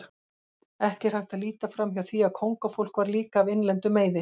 Ekki er hægt að líta framhjá því að kóngafólk var líka af innlendum meiði.